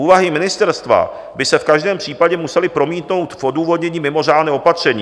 Úvahy ministerstva by se v každém případě musely promítnout v odůvodnění mimořádného opatření."